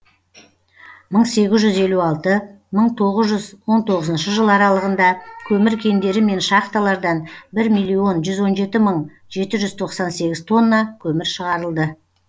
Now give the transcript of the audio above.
мың сегіз жүз елу алты мың тоғыз жүз он тоғызыншы жылы аралығында көмір кендері мен шахталардан бір миллион жүз он жеті мың жеті жүз тоқсан сегіз тонна көмір шығарылды